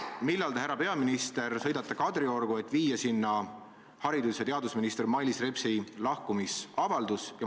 Millal te, härra peaminister, sõidate Kadriorgu, et viia sinna haridus- ja teadusminister Mailis Repsi lahkumisavaldus?